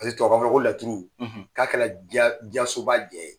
Paseke tubabukan fɔla ko laturu k'a kɛra diɲɛ diɲɛ soba jɛ ye.